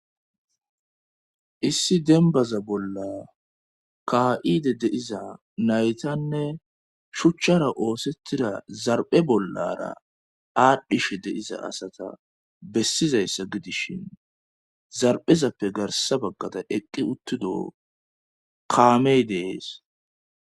Issi denbaza bolla ka7ide deiza naytanne shuchchara oosettida zarpe bollara aadhdhishe deiza asata bessizayssa gidishin zarbhezappe garsa baggaraa eqqi uttido kaamey dees